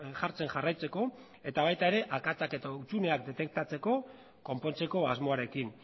jartzen jarraitzeko eta baita ere akatsak eta hutsuneak detektatzeko konpontzeko asmoarekin